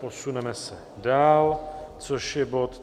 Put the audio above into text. Posuneme se dál, což je bod